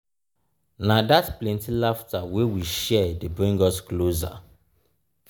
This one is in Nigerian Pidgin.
na dat plenty laughter wey we share dey bring us closer.